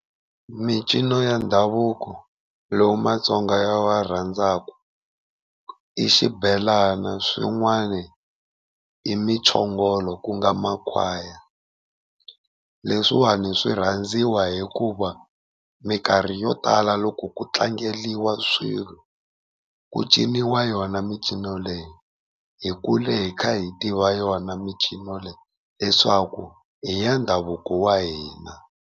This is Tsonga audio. Mincino ya ndhavuko lowu Matsonga ya wa rhandzaka i xibelana, swin'wani i muchongolo ku nga makhwaya. Leswiwani swi rhandziwa hikuva mikarhi yo tala loko ku tlangeriwa swilo ku ciniwa yona micino leyi hi kule hi kha hi tiva yona micino, leswaku i ya ndhavuko wa hina.